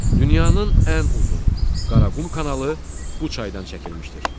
Dünyanın ən uzun Qaraqum kanalı bu çaydan çəkilmişdir.